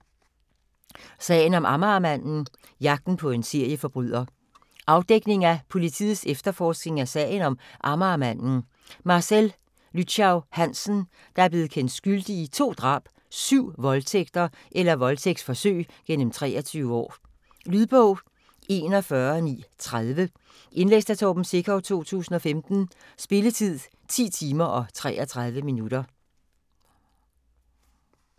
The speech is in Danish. Sagen om Amagermanden: jagten på en serieforbryder Afdækning af politiets efterforskning af sagen om "Amagermanden", Marcel Lychau Hansen, der er blevet kendt skyldig i to drab og syv voldtægter eller voldtægtsforsøg gennem 23 år. Lydbog 41930 Indlæst af Torben Sekov, 2015. Spilletid: 10 timer, 33 minutter.